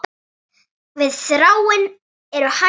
Við Þráinn eru hætt saman.